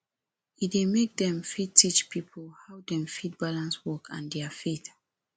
e dey make dem fit teach pipo how dem fit balance work and their faith